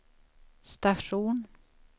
station